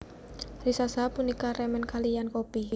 Riza Shahab punika remen kaliyan kopi